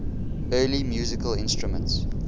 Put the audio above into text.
early musical instruments